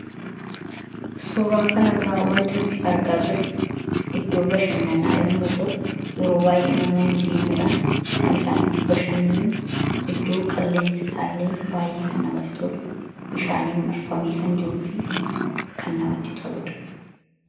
suuraa kanarraa waanti nuti argaa jirru iddoo bashannanaa yommuu ta'u yeroo baay'ee namoonni deemuudhaan kan isaan itti bashannan iddoo qilleensi isaallee baay'ee kan namatti tolu bishaaniin marfamee kan jiruu fi kan namatti toludha.